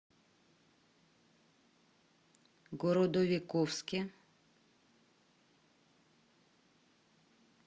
городовиковске